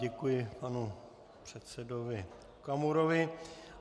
Děkuji panu předsedovi Okamurovi.